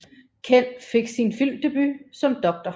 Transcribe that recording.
Ken fik sin filmdebut som Dr